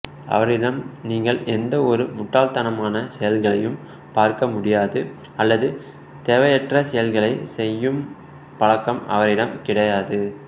அவரிடம் நீங்கள் எந்த ஒரு முட்டாள்தனமான செய்கைகளையும் பார்க்க முடியாது அல்லது தேவையற்ற செய்கைகளை செய்யும் பழக்கம் அவரிடம் கிடையாது